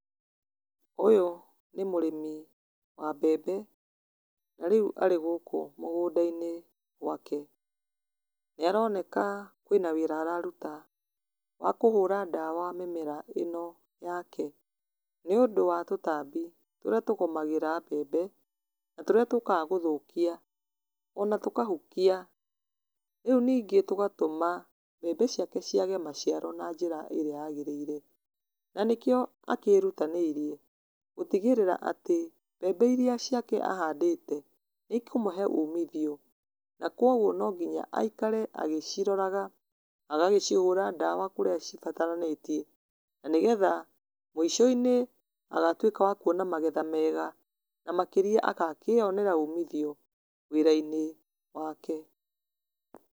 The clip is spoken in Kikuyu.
Ũyũ nĩ mũrĩmi wa mbembe na rĩu arĩ gũkũ mũgũnda-inĩ gwake. Nĩ aroneka kwĩ na wĩra araruta wa kũhũra ndawa mĩmera ĩno yake, nĩ ũndũ wa tũtambĩ turĩa tũgũmagĩra mbembe na tũrĩa tũkaga gũthũkia ona tũkahukia. Rĩu ningĩ tũgatũma mbembe ciake ciage maciaro na njĩra ĩrĩa yagĩrĩire. Na nĩkio akĩrutanĩirie gũtigĩrĩra atĩ mbembe iria ciake ahandĩte, nĩikũmũhe umithio, na no nginya aikare agĩciroraga, agacihũra ndawa kũrĩa cibataranĩtie na nĩgetha mũicoinĩ agatũika wa kuona magetha mega. Na makĩria agakĩonera umithio wĩrainĩ wake.